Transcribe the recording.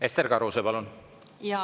Ester Karuse, palun!